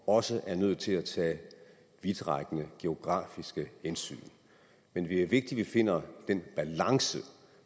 også er nødt til at tage vidtrækkende geografiske hensyn men det er vigtigt at vi finder den balance